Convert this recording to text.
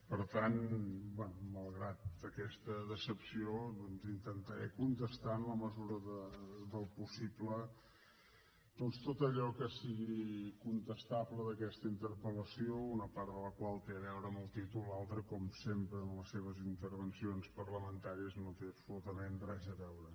per tant bé malgrat aquesta decepció doncs intentaré contestar en la mesura del possible tot allò que sigui contestable d’aquesta interpeltol l’altra com sempre en les seves intervencions parlamentàries no hi té absolutament res a veure